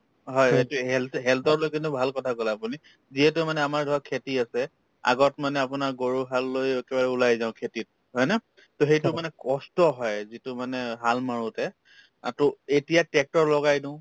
হয়, সেইটোয়ে health health ক লৈ কিনে ভাল কথা কলে আপুনি যিহেতু মানে আমাৰ ঘৰত খেতি আছে আগত মানে আপোনাৰ গৰুহাল লৈ একেবাৰে ওলাই যাওঁ খেতিত হয় ন to সেইটো মানে কষ্ট হয় যিটো মানে হাল মাৰোতে অ to এতিয়া tractor লগাই দিও